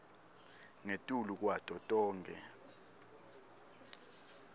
ngetulu kwato tonkhe